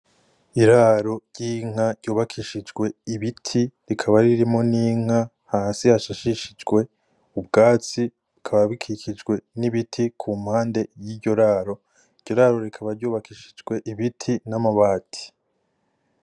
Iraro ry'inka ry'ubakishijwe ibiti rikaba ririmwo n'inka hasi hasashishijwe ubwatsi bukaba bikikijwe n'ibiti ku mpande yiryo raro , iryo raro rikaba ry'ubakishijwe ibiti n'amabati.